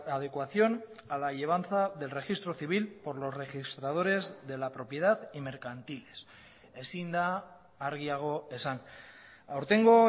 adecuación a la llevanza del registro civil por los registradores de la propiedad y mercantiles ezin da argiago esan aurtengo